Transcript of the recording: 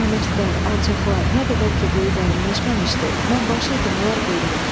Namərdlər, alçaqlar, nə qədər ki quyu dərinləşməmişdi, mən başıydım, onlar quyruq.